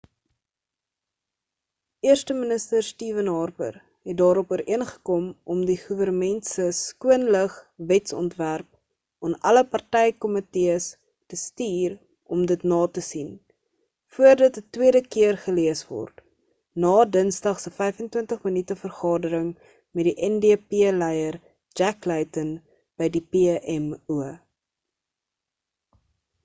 eersteminister stephen harper het daarop ooreengekom om die goewernment se skoon lug wetsontwerp'aan alle party-komitees te stuur om dit na te sien voor dit 'n tweede keer gelees word na dinsdag se 25 minute vergadering met die ndp leier jack layton by die pmo